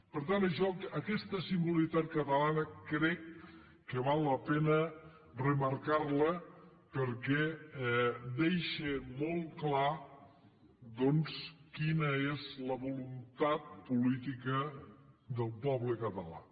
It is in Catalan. per tant això aquesta singularitat catalana crec que val la pena remarcarla perquè deixa molt clar doncs quina és la voluntat política del poble català